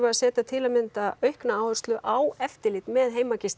að setja til að mynda aukna áherslu á eftirlit með